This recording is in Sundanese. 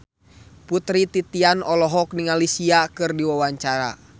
Putri Titian olohok ningali Sia keur diwawancara